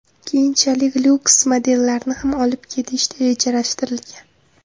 Keyinchalik Luxe modellarni ham olib kelish rejalashtirilgan.